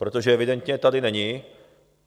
Protože evidentně tady není...